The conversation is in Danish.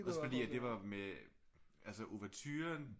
Også fordi det var med altså ouverturen